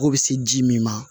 Kɔgɔ bɛ se ji min ma